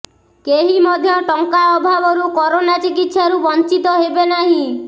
କେହି ମଧ୍ୟ ଟଙ୍କା ଅଭାବରୁ କରୋନା ଚିିକିତ୍ସାରୁ ବଂଚିତ ହେବେ ନାହିଁ